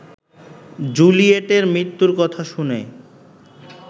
জুলিয়েটের মৃত্যুর কথা শুনে